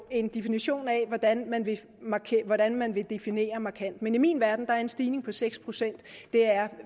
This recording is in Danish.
en definition af hvordan man vil definere markant men i min verden er en stigning på seks pct